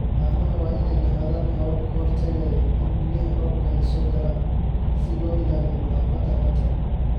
Haamaha waa inay lahaadaan habab ka hortagaya in biyaha roobka ay soo galaan si loo ilaaliyo nadaafadda haanta.